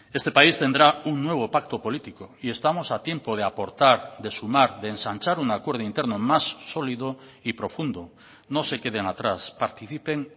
este país tendrá un nuevo pacto político y estamos a tiempo de aportar de sumar de ensanchar un acuerdo interno más sólido y profundo no se queden atrás participen